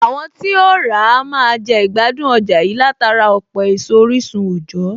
Àwọn tí óhún ràá a máa jẹ ìgbádùn ọjà yìí látara ọ̀pọ̀ èso orísun òjọ̀ọ́